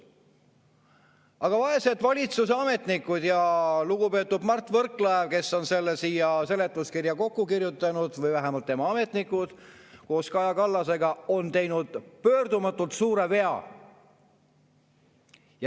Aga vaesed valitsuse ametnikud ja lugupeetud Mart Võrklaev, kes on selle siia seletuskirja kokku kirjutanud, või vähemalt tema ametnikud, koos Kaja Kallasega on teinud pöördumatult suure vea.